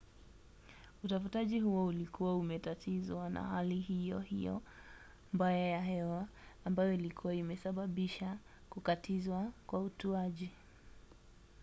utafutaji huo ulikuwa umetatizwa na hali hiyo hiyo mbaya ya hewa ambayo ilikuwa imesababisha kukatizwa kwa utuaji